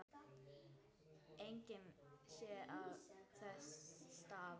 Engan sé ég þess stað.